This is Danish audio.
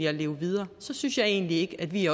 at leve videre så synes jeg egentlig ikke at vi